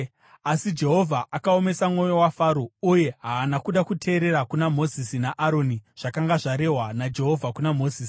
Asi Jehovha akaomesa mwoyo waFaro uye haana kuda kuteerera kuna Mozisi naAroni, zvakanga zvarehwa naJehovha kuna Mozisi.